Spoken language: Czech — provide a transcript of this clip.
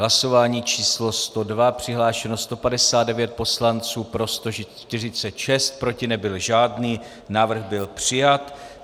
Hlasování číslo 102, přihlášeno 159 poslanců, pro 146, proti nebyl žádný, návrh byl přijat.